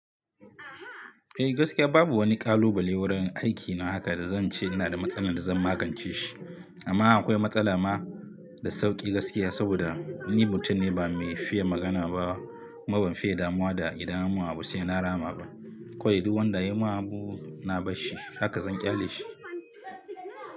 Eh gaskiya babu wani kalubale wurin aikina haka da zan ce ina da matsala da zan magance shi. Amma akwai matsala ma, da sauki gaskiya saboda ni mutum ne ba mai fiye magana ba kuma ban fiye damuwa da idan an yi mun abu sai na rama ba. Kowai duk wanda ya yi min abu na bar shi haka zan ƙyale shi.